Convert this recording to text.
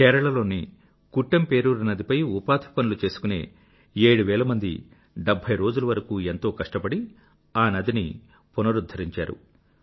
కేరళ లోని కుట్టెం పేరూర్ కుట్టెంపేరూర్ నదిపై ఉపాధి పనులు చేసుకునే 7వేల మంది 70రోజుల వరకూ ఎంతో కష్టపడి ఆ నదిని పునరుద్ధరించారు